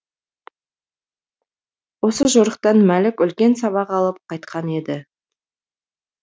осы жорықтан мәлік үлкен сабақ алып қайтқан еді